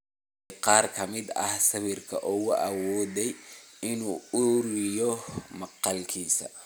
Fiiri qaar ka mid ah sawirada uu awooday in uu ururiyo maqaalkiisa.